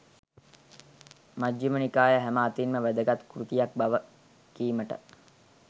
මජ්ඣිම නිකාය හැම අතින්ම වැදගත් කෘතියක් බව කීමට